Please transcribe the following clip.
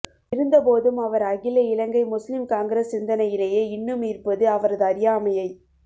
இருந்த போதும் அவர் அகில இலங்கை முஸ்லிம் காங்கிரஸ் சிந்தனையிலேயே இன்னும் இருப்பது அவரது அறியாமையை